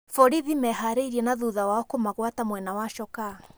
Borithi mebarĩrie na thutha wao kũmagwata mwena wa Chokaa.